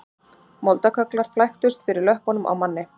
Moldarkögglar flæktust fyrir löppunum á manni